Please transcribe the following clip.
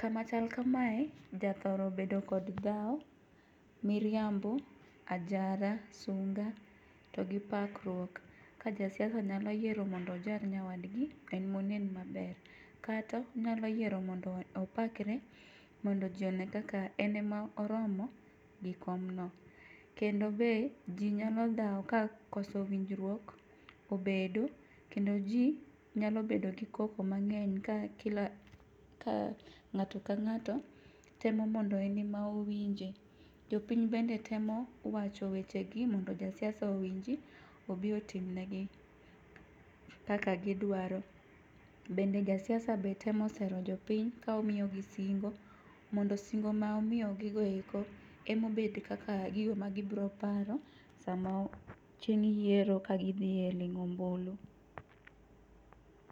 Kama chal kamae, jathoro bedo kod dhawo, miriambo, ajara ,sunga to gi pakruok ka jasiasa nyalo yiero mondo ojar nyawadgi, en monen maber kata onyalo yiero mondo opakre, mondo ji one kaka en emoromo gi komno. Kendo be ji nyalo dhawo ka koso winjruok obedo, kendo ji nyalo bedo gi koko mang'eny ka ng'ato ka ng'ato temo mondo en ema owinje. Jopiny bende temo wacho wechegi mondo josiasa owinj obi otimnegi kaka gidwaro. Bende jasiasa be temo sero jopiny ka omiyogi singo, mondo singo ma omiyogigo eko emobed kaka gigo ma gibiro paro sama chieng' yiero ka gidhi e ling'o ombulu.